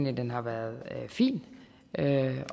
at den har været fin